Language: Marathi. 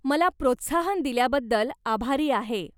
मला प्रोत्साहन दिल्याबद्दल आभारी आहे.